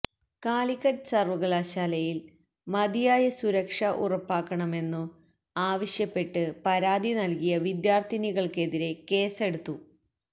കാലിക്കറ്റ് സര്വ്വകലാശാലയില് മതിയായ സുരക്ഷ ഉറപ്പക്കന്മെന്നു ആവശ്യപ്പെട്ട് പരാതിനല്കിയ വിദ്യാര്ത്ഥിനികള്തിരെ കേസെടുത്തു